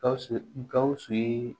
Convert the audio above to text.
Gawusu gawusu ye